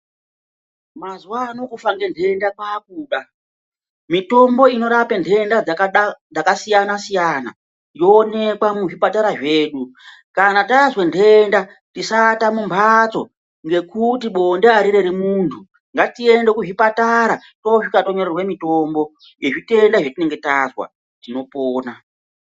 Mazuva ano kufa ngenhenda kwakuda mitombo inorape nhenda dzakasiyana-siyana, yoonekwa muzvipatara zvedu. Kana tazwe nhenda tisaata mumhatso ngekuti bonde harireri muntu ngatiende kuzvipatara tosvika tonyorerwa mutombo ngezvitenda zvatinenge tazwa tinopona.